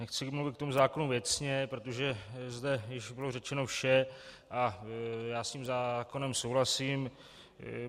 Nechci mluvit k tomu zákonu věcně, protože zde již bylo řečeno vše a já s tím zákonem souhlasím.